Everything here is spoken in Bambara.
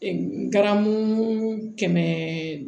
ngaramu kɛmɛ